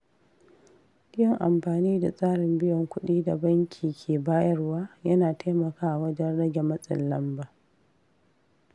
Yin amfani da tsarin biyan kudi da banki ke bayarwa yana taimakawa wajen rage matsin lamba.